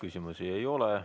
Küsimusi ei ole.